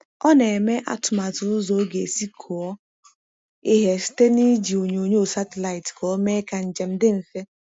Ọ na-eme atụmatụ ụzọ o ga-esi kụọ ihe site n'iji onyoonyo satịlaịtị ka ọ mee ka njem dị mfe.